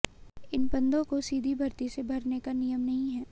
इन पदों को सीधी भर्ती से भरने का नियम नहीं है